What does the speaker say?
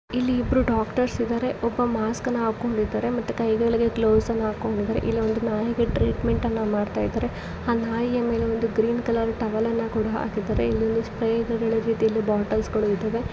ಇಲ್ಲಿ ಇಬ್ರು ಡಾಕ್ಟರ್ಸ್ ಇದಾರೆ ಒಬ್ಬ ಮಾಸ್ಕ ನ ಹಾಕೊಂಡಿದ್ದಾರೆ ಮತ್ತೆ ಕೈಗಳಿಗೆ ಗ್ಲೌಸ್ ಅನ್ನು ಹಾಕಿಕೊಂಡಿದ್ದಾರೆ. ಇಲ್ಲಿ ಒಂದು ನಾಯಿಗೆ ಟ್ರೀಟ್ಮೆಂಟ್ ಅನ್ನ ಮಾಡುತ್ತಿದ್ದಾರೆ ಆ ನಾಯಿಯ ಮೇಲೆ ಒಂದು ಗ್ರೀನ್ ಕಲರ್ ಟವಲ್ ನ್ನ ಕೂಡ ಹಾಕಿದ್ದಾರೆ ಇಲ್ಲಿ ಸ್ಪ್ರೇ ಮತ್ತು ಬಾಟಲ್ಸ್ ಗಳು ಇವೆ.